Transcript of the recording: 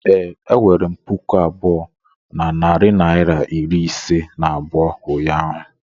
ee, enwere m puku abụọ na narị naịra iri ise na abụọ ụnyaahụ